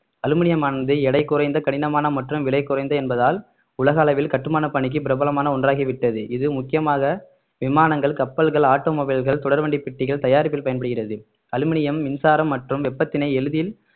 அலுமினியமானது எடை குறைந்த கடினமான மற்றும் விலை குறைந்து என்பதால் உலக அளவில் கட்டுமான பணிக்கு பிரபலமான ஒன்றாகிவிட்டது இது முக்கியமாக விமானங்கள் கப்பல்கள் automobile கள் தொடர்வண்டி பெட்டிகள் தயாரிப்பில் பயன்படுகிறது அலுமினியம் மின்சாரம் மற்றும் வெப்பத்தினை எளிதில்